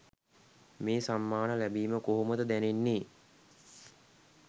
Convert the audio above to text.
මේ සම්මාන ලැබිම කොහොමද දැනෙන්නේ?